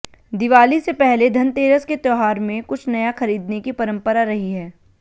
दिवाली से पहले धनतेरस के त्यौहार में कुछ नया खरीदने की परंपरा रही है